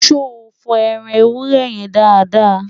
so fo ẹran ewúrẹ́ yẹ dáadáa?